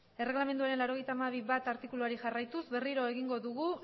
erregelamenduaren laurogeita hamabi puntu bat artikuluari jarraituz berriro egingo dugu